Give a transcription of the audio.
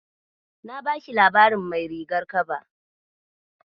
Na bashi labarin Mai rigar kaba.